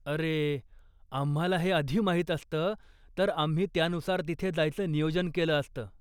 अरे, आम्हाला हे माहिती असतं तर आम्ही त्यानुसार तिथे जायचं नियोजन केलं असतं.